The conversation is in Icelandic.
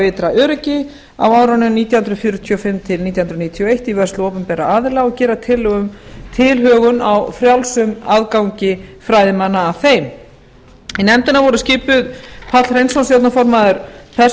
ytra öryggi á árunum nítján hundruð fjörutíu og fimm til nítján hundruð níutíu og eitt í vörslu opinberra aðila og gera tillögu um tilhögun á frjálsum aðgangi fræðimanna að þeim í nefndina voru skipuð páll hreinsson stjórnarformaður